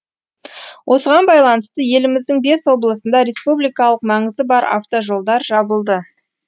осыған байланысты еліміздің бес облысында республикалық маңызы бар атвожолдар жабылды